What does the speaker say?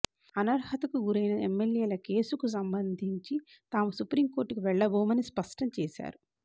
అనర్హతకు గురైన ఎమ్మెల్యేల కేసుకు సంబంధించి తాము సుప్రీంకోర్టుకు వెళ్లబోమని స్పష్టం చేశారు